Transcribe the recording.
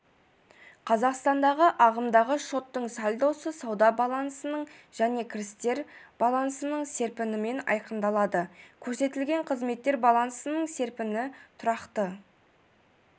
қазақстанда ағымдағы шоттың сальдосы сауда баллансының және кірістер баллансының серпінімен айқындалады көрсетілетін қызметтер баллансының серпіні тұрақты